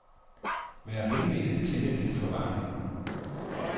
Vær venlig at tænde lidt for varmen.